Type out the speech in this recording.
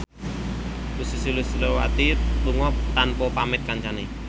Ussy Sulistyawati lunga tanpa pamit kancane